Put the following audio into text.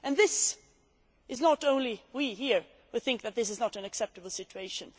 It is not only us here who think that this is not an acceptable situation.